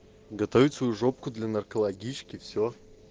готовить свою жопку для наркологички все